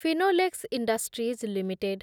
Finolex industries limited